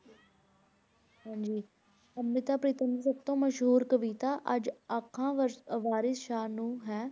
ਹਾਂਜੀ ਅੰਮ੍ਰਿਤਾ ਪ੍ਰੀਤਮ ਦੀ ਸਭ ਤੋਂ ਮਸ਼ਹੂਰ ਕਵਿਤਾ ਅੱਜ ਆਖਾਂ ਵਰਸ~ ਅਹ ਵਾਰਿਸ ਸ਼ਾਹ ਨੂੰ ਹੈ।